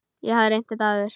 Ég hef reynt þetta áður.